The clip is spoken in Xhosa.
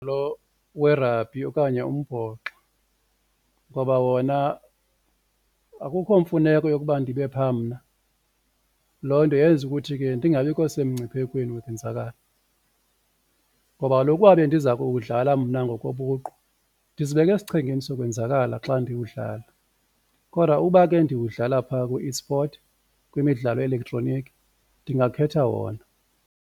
Lo werabhi okanye umbhoxo ngoba wona akukho mfuneko yokuba ndibe pha mna, loo nto yenza ukuthi ke ndingabikho semngciphekweni wokonzakala. Ngoba kaloku uba bendiza kuwudlala mna ngokobuqu ndizibeka esichengeni sokwenzakala xa ndiwudlala kodwa uba ke ndiwudlala phaa ku-eSport kwimidlalo ye-elektroniki ndingakhetha wona.